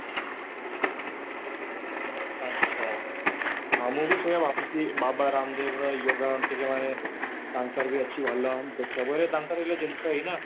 ଆଛା, ହଁ ମୁଁ ବି ସେଇଆ ଭାବୁଛି ବାବା ରାମଦେବ ର yoga ଟିକେ ମାନେ ତାଙ୍କର ବି ଅଛି ଭଲ ଦେଖିବାକୁ ହେଲେ ତାଙ୍କର ଜିନିଷ ହିଁ ନା